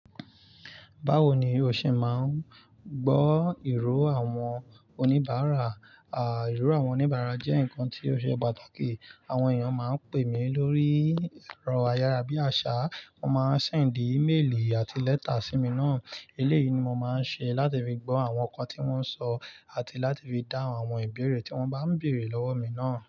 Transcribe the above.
Báwo ni o ṣe máa ń gbọ́ ìró àwọn oníbàárà? À, ìró àwọn oníbàárà jẹ́ nǹkan tí ó ṣe pàtàkì. Àwọn èèyàn máa ń pè mí lórí ẹ̀rọ ayára bíi àṣá, wọ́n máa ń ṣẹ̀ndì íméèlì àti lẹ́tà sí mi náà. Eléyìí ni mo máa ń ṣe láti fi gbọ́ àwọn nǹkan tí wọ́n ń sọ àti láti fi dá àwọn ìbéèrè tí wọ́n bá ń bèèrè lọ́wọ́ mi náà.